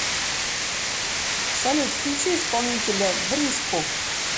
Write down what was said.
салют включи исполнителя бриску